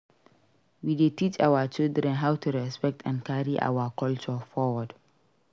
We dey teach our children how to respect and carry our culture forward.